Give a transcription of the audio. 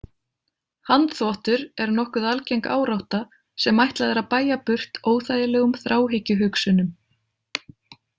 Handþvottur er nokkuð algeng árátta sem ætlað er að bægja burt óþægilegum þráhyggjuhugsunum.